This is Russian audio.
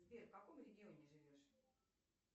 сбер в каком регионе живешь